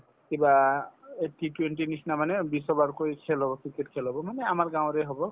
কিবা এই T twenty ৰ নিচিনা মানে বিশ over কৈ খেল হব cricket খেল হব মানে আমাৰ গাঁৱৰে হব